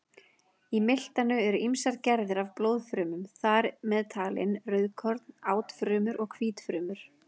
Í miltanu eru ýmsar gerðir af blóðfrumum, þar með talin rauðkorn, átfrumur og hvítfrumur.